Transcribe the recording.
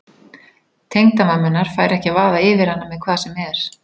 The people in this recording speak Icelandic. Tengdamamma hennar fær ekki að vaða yfir hana með hvað sem er.